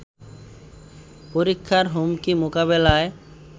পরীক্ষার হুমকি মোকাবেলায়